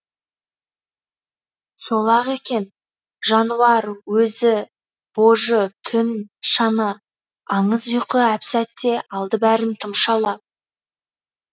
сол ақ екен жануар өзі божы түн шана аңыз ұйқы әп сәтте алды бәрін тұмшалап